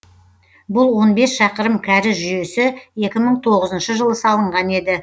бұл он бес шақырым кәріз жүйесі екі мың тоғызыншы жылы салынған еді